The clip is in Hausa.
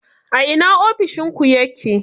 A ina ofishin ku yake?